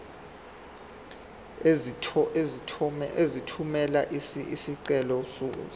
uzothumela isicelo sakho